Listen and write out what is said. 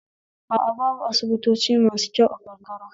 A a babu asibitoci masu kyau a karkara